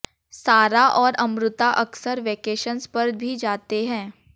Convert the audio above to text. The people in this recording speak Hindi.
सारा और अमृता अक्सर वेकेशंस पर भी जाते हैं